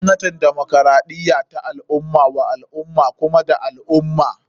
Gwamnatin demokaraɗiya ta al ummah wa al ummah kuma da al ummah.